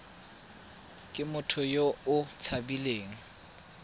ke motho yo o tshabileng